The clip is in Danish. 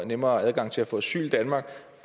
nemmere adgang til at få asyl i danmark